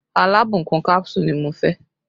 Alábùkún kánsù ni mo fẹ́